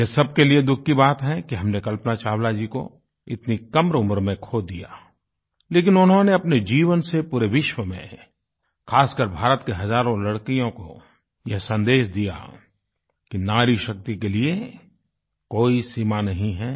यह सबके लिए दुःख की बात है कि हमने कल्पना चावला जी को इतनी कम उम्र में खो दिया लेकिन उन्होंने अपने जीवन से पूरे विश्व में ख़ासकर भारत की हज़ारों लड़कियों को यह संदेश दिया कि नारीशक्ति के लिए कोई सीमा नहीं है